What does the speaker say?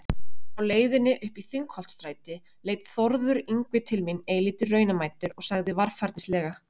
Á leiðinni uppí Þingholtsstræti leit Þórður Yngvi til mín eilítið raunamæddur og sagði varfærnislega